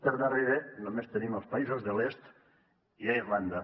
per darrere només tenim els països de l’est i irlanda